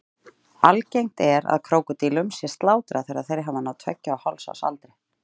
Algengt er að krókódílum sé slátrað þegar þeir hafa náð tveggja og hálfs árs aldri.